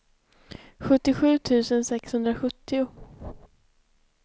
sjuttiosju tusen sexhundrasjuttio